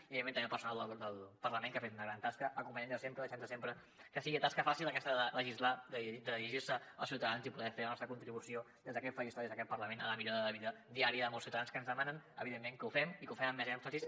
i evidentment també al personal del parlament que ha fet una gran tasca acompanyant nos sempre deixant nos sempre que sigui una tasca fàcil aquesta de legislar i de dirigir se als ciutadans i poder fer la nostra contribució des d’aquest faristol i des d’aquest parlament a la millora de vida diària de molts ciutadans que ens demanen evidentment que ho fem i que ho fem amb més èmfasi